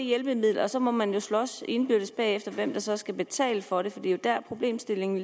hjælpemiddel og så må man slås indbyrdes bagefter om hvem der så skal betale for det for det er jo der problemstillingen